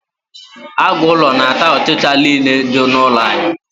aguulo na ata ochicha n'ile di n'ulo anyi